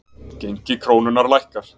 Gengi krónunnar lækkar